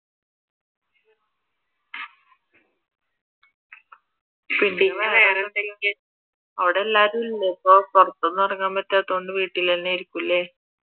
അവിടെ എല്ലാവരും ഇല്ലേ ഇപ്പൊ? പുറത്തൊന്നും ഇറങ്ങാൻ പറ്റാത്തതുകൊണ്ട് വീട്ടിൽ തന്നെയായിരിക്കും അല്ലെ?